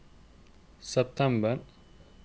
september